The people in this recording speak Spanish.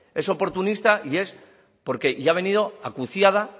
es oportunista y es y ha venido acuciada